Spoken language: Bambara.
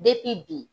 bi